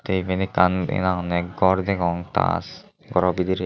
eben ekkan henang honney ghar degong tas ghoro bidirey.